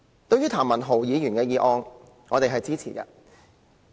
對於譚文豪議員的議案，我們是支持的。